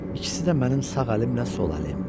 İkisi də mənim sağ əlimlə sol əlim.